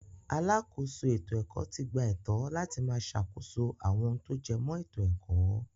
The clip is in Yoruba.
Alákòóso ètò-ẹ̀kọ́ ti gba ẹ̀tọ́ láti máa sàkóso àwọn ohun tó jẹmọ́ ètò-ẹ̀kọ́.